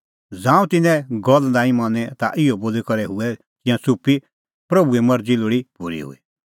ज़ांऊं तिन्नें गल्ल तेऊ नांईं मनी ता इहअ बोली करै हुऐ तिंयां च़ुप्पी प्रभूए मरज़ी लोल़ी पूरी हुई